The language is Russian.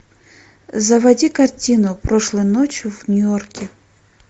заводи картину прошлой ночью в нью йорке